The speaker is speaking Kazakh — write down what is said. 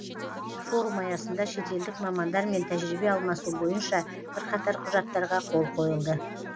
форум аясында шетелдік мамандар мен тәжірибе алмасу бойынша бірқатар құжаттарға қол қойылды